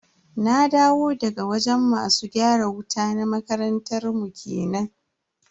Na dawo daga wajen masu gyara wuta na makarantar mu kenan.